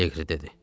Liqri dedi.